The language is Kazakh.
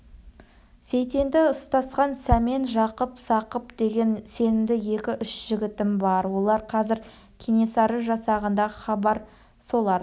сейтенді ұстасқан сәмен жақып сақып деген сенімді екі-үш жігітім бар олар қазір кенесары жасағында хабар солар